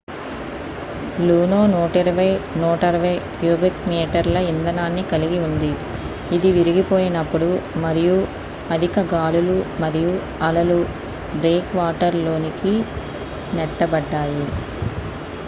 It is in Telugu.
లూనో 120-160 క్యూబిక్ మీటర్ల ఇంధనాన్ని కలిగి ఉంది ఇది విరిగిపోయినప్పుడు మరియు అధిక గాలులు మరియు అలలు బ్రేక్ వాటర్ లోనికి నెట్టబడ్డాయి